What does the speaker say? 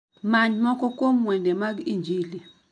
Many moko kuom wende mag injili